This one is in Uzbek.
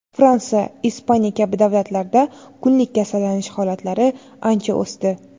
Fransiya , Ispaniya kabi davlatlarda kunlik kasallanish holatlari ancha o‘sdi.